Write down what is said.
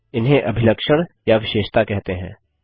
इन्हें अभिलक्षण या विशेषता कहते हैं